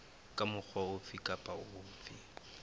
ka mokgwa ofe kapa ofe